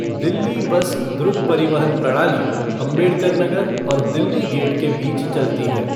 Delhi bus द्रुत परिवहन प्रणाली अंबेडकर नगर और दिल्ली गेट के बीच चलती है।